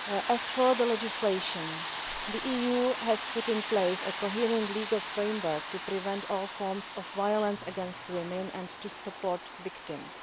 As regards legislation the EU has put in place a coherent legal framework to prevent all forms of violence against women and to support victims.